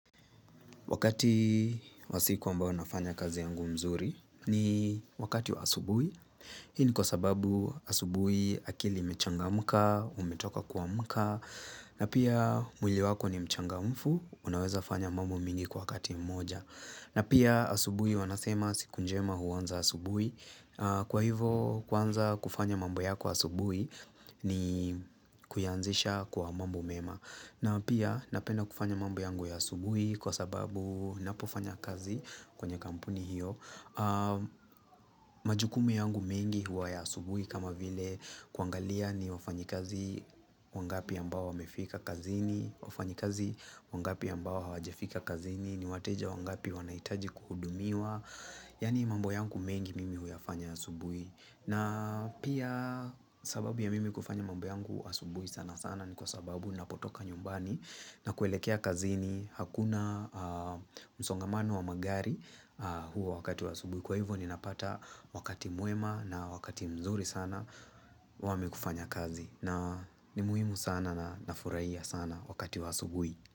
Wakati wa siku ambao nafanya kazi yangu mzuri ni wakati wa asubui. Hii ni kwa sababu asubuhi akili imechangamka, umetoka kuamka, na pia mwili wako ni mchangamfu, unaweza fanya mambo mingi kwa kati mmoja. Na pia asubuhi wanasema siku njema huanza asubuhi. Kwa hivo kuanza kufanya mambo yako asubuhi ni kuyanzisha kwa mambo mema. Na pia napenda kufanya mambo yangu ya asubuhi kwa sababu ninapofanya kazi kwenye kampuni hiyo majukumu yangu mengi huwa ya asubuhi kama vile kuangalia ni wafanyi kazi wangapi ambao wamefika kazini wafanyi kazi wangapi ambao hawajafika kazini ni wateja wangapi wanahitaji kuhudumiwa Yani mambo yangu mengi mimi huyafanya asubuhi na pia sababu ya mimi kufanya mambo yangu asubuhi sana sana ni kwa sababu ninapotoka nyumbani na kuelekea kazini hakuna msongamano wa magari huo wakati wa asubui. Kwa hivyo ninapata wakati mwema na wakati mzuri sana wamikufanya kazi. Na ni muhimu sana na nafurahia sana wakati wa asubui.